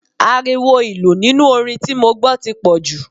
Ariwo ìlù nínú orin tí mo gbọ́ tí pọ̀jù.